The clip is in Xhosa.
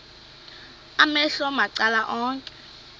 amehlo macala onke